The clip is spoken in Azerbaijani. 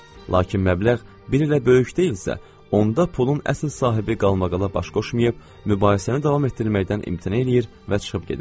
Lakin məbləğ bir elə böyük deyilsə, onda pulun əsl sahibi qalmaqala baş qoşmayıb, mübahisəni davam etdirməkdən imtina eləyir və çıxıb gedir.